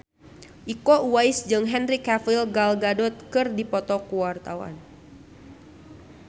Iko Uwais jeung Henry Cavill Gal Gadot keur dipoto ku wartawan